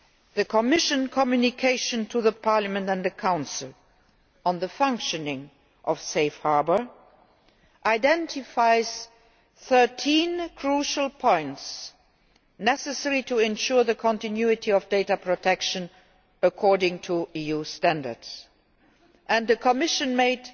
The Commission Communication to the Parliament and the Council on the functioning of Safe Harbour identifies 13 crucial points necessary to ensuring the continuity of data protection according to EU standards. The Commission made